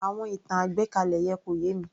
Àwọn ìtàn àgbékalẹ̀ yẹn kò yé mi